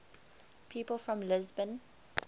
people from lisbon